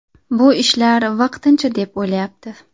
Bu ishlar vaqtincha deb o‘ylayapti.